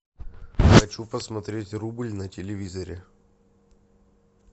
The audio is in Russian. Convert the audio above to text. хочу посмотреть рубль на телевизоре